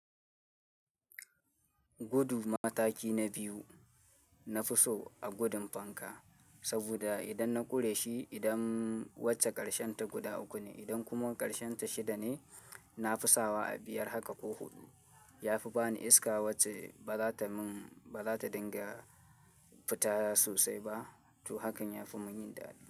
Gudu mataki na biyu, na fi so a gudun fanka saboda idan na ƙure shi, idan wacce ƙarshen ta guda uku ne, idan kuma ƙarshen ta shida ne, na fi sawa a biyar haka ko huɗu. Yafi bani iska wacce baza ta mun, baza ta dinga fita sosai ba. To hakan yafi mun yin daɗi.